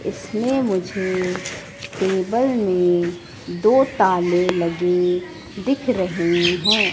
इसमें मुझे टेबल में दो ताले लगे दिख रहें हैं।